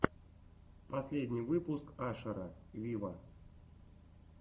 последний выпуск ашера виво